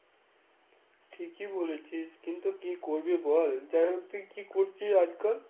ঠিকই বলেছিস কিন্তু কি করবি বল? যাইহোক তুই কি করছিস আজ কাল?